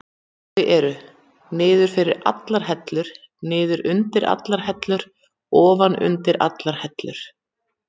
Þau eru: niður fyrir allar hellur, niður undir allar hellur, ofan undir allar hellur.